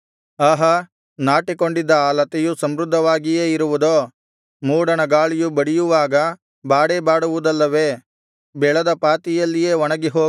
ಆಹಾ ನಾಟಿಕೊಂಡಿದ್ದ ಆ ಲತೆಯು ಸಮೃದ್ಧವಾಗಿಯೇ ಇರುವುದೋ ಮೂಡಣ ಗಾಳಿಯು ಬಡಿಯುವಾಗ ಬಾಡೇ ಬಾಡುವುದಲ್ಲವೇ ಬೆಳೆದ ಪಾತಿಯಲ್ಲಿಯೇ ಒಣಗಿಹೋಗುವುದು